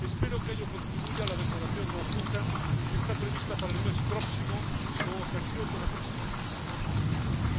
Espero que a ello contribuya a la declaración conjunta que está prevista para el mes próximo con ocasión de la próxima cumbre de la OTAN en Bruselas.